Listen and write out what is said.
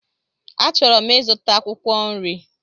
Achọrọ m ịzụta akwụkwọ nri.